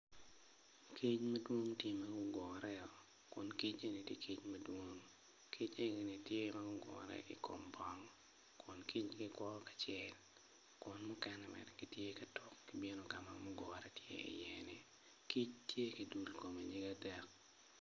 Kic madwong tye ma guugre o kun kic eni tye kic madwong kic enini tye magugure i kom bong kun kicgi kuro kicel kun mukene gitye ka tuk gibino kama mukene gugure i ye ni kic tye ki dur i kome nyig adek.